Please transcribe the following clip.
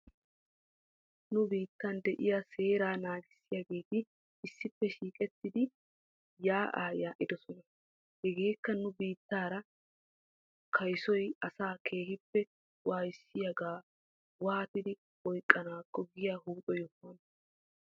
Nu biittan de'iyaa seeraa naagissiyaageeti issippe shiiqettidi yaa'aa yaa'idosona. Hegeekka nu biittaara kayssoy asaa keehippe waayissiyaagaa waatidi oyqqanaakko giyaa huuphphe yohuwaana.